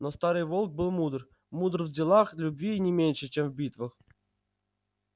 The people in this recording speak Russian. но старый волк был мудр мудр в делах любви не меньше чем в битвах